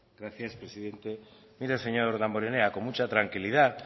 gracias presidente mire señor damborenea con mucha tranquilidad